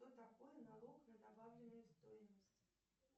что такое налог на добавленную стоимость